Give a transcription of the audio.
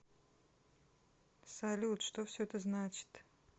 салют что все это значит